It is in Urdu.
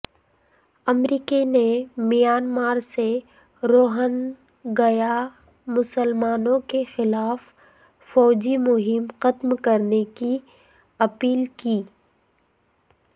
امریکہ نے میانمار سے روہنگیا مسلمانوں کے خلاف فوجی مہم ختم کرنے کی اپیل کی